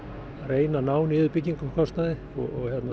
reyna að ná niður byggingakostnaði og ef